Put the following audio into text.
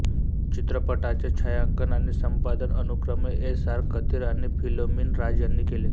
चित्रपटाचे छायांकन आणि संपादन अनुक्रमे एस आर कथिर आणि फिलोमिन राज यांनी केले